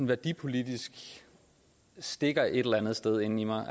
værdipolitisk stikker et eller andet sted inden i mig